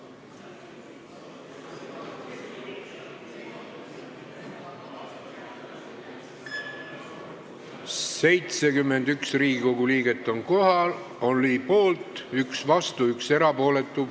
Hääletustulemused 71 Riigikogu liiget oli poolt, üks vastu, üks erapooletu.